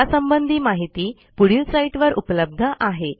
यासंबंधी माहिती पुढील साईटवर उपलब्ध आहे